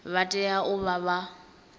vha tea u vha vha